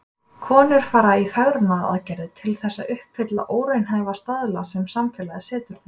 Konur fara í fegrunaraðgerðir til þess að uppfylla óraunhæfa staðla sem samfélagið setur þeim.